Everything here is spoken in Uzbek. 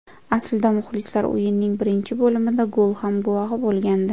Aslida muxlislar o‘yinning birinchi bo‘limida gol ham guvohi bo‘lgandi.